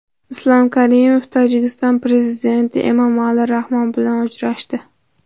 Islom Karimov Tojikiston prezidenti Emomali Rahmon bilan uchrashdi.